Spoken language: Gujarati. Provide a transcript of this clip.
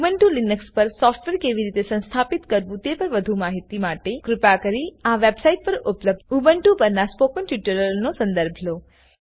ઉબુન્ટુ લીનક્સ પર સોફ્ટવેર કેવી રીતે સંસ્થાપિત કરવું તેના પર વધુ માહિતી માટે કૃપા કરી આ વેબસાઈટ પર ઉપલબ્ધ ઉબુન્ટુ પરનાં સ્પોકન ટ્યુટોરીયલોનો સંદર્ભ લો